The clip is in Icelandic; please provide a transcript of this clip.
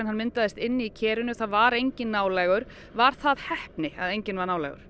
myndaðist inni í kerinu það var enginn nálægur var það heppni að enginn var nálægur